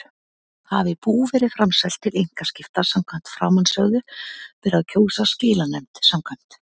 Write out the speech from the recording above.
Hafi bú verið framselt til einkaskipta samkvæmt framansögðu ber að kjósa skilanefnd samkvæmt